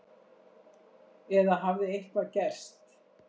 Eða hafði eitthvað gerst?